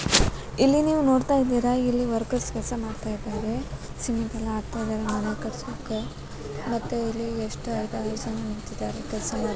ಇಲ್ಲಿ ನೀವ್ ನೋಡ್ತಾ ಇದ್ದೀರಾ ಇಲ್ಲಿ ವರ್ಕರ್ಸ್ ಕೆಲ್ಸ ಮಾಡ್ತಾ ಇದ್ದಾರೆ ಸಿಮೆಂಟೆಲ್ಲಾ ಹಾಕ್ತಾ ಇದ್ದಾರೆ ಮನೆ ಕಟ್ಸುಕ ಮತ್ತೆ ಇಲ್ಲಿ ಎಸ್ಟ್ ಐದಾರ್ ಜನ ನಿಂತಿದ್ದಾರೆ ಕೆಲ್ಸ ಮಾಡ್ --